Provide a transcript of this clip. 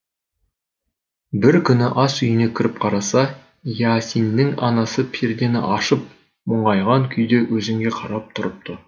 бір күні ас үйіне кіріп қараса иасиннің анасы пердені ашып мұңайған күйде өзенге қарап тұрыпты